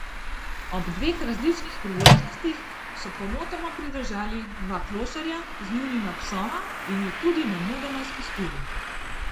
Ob dveh različnih priložnostih so pomotoma pridržali dva klošarja z njunima psoma in ju tudi nemudoma spustili.